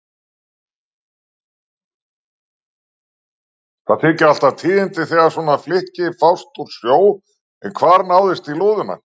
Það þykja alltaf tíðindi þegar svona flykki fást úr sjó, en hvar náðist í lúðuna?